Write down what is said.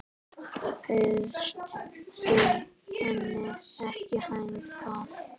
Bauðst þú henni ekki hingað?